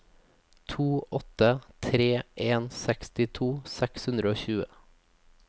to åtte tre en sekstito seks hundre og tjue